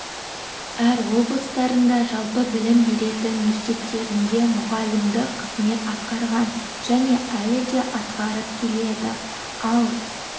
әр облыстарында жалпы білім беретін мектептерінде мұғалімдік қызмет атқарған және әлі де атқарып келеді ал